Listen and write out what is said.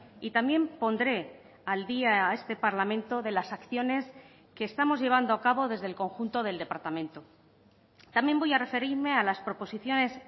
y también pondré al día a este parlamento de las acciones que estamos llevando a cabo desde el conjunto del departamento también voy a referirme a las proposiciones